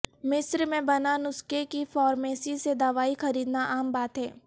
مصر میں بنا نسخے کے فارمیسی سے دوائی خریدنا عام بات ہے